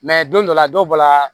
don dɔ la dɔw bɔra